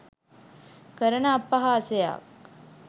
කරන අපහාසයක්.